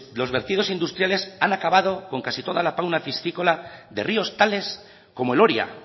los vertidos industriales han acabado con casi toda la fauna piscícola de ríos tales como el oria